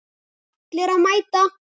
Allir að mæta!